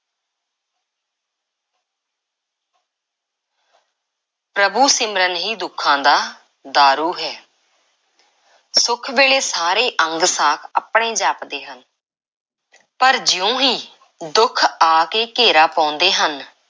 ਪ੍ਰਭੂ–ਸਿਮਰਨ ਹੀ ਦੁੱਖਾਂ ਦਾ ਦਾਰੂ ਹੈ। ਸੁੱਖ ਵੇਲੇ ਸਾਰੇ ਅੰਗ–ਸਾਕ ਆਪਣੇ ਜਾਪਦੇ ਹਨ ਪਰ ਜਿਉਂ ਹੀ ਦੁੱਖ ਆ ਕੇ ਘੇਰਾ ਪਾਉਂਦੇ ਹਨ,